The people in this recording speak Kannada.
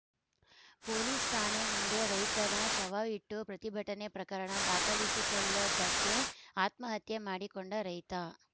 ಪೊಲೀಸ್‌ ಠಾಣೆ ಮುಂದೆ ರೈತನ ಶವವಿಟ್ಟು ಪ್ರತಿಭಟನೆ ಪ್ರಕರಣ ದಾಖಲಿಸಿಕೊಳ್ಳದ್ದಕ್ಕೆ ಆತ್ಮಹತ್ಯೆ ಮಾಡಿಕೊಂಡ ರೈತ